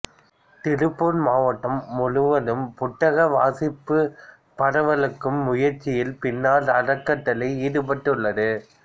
திருப்பூர் மாவட்டம் முழுவதும் புத்தக வாசிப்பை பரவலாக்கும் முயற்சியில் பின்னல் அறக்கட்டளை ஈடுபட்டுள்ளது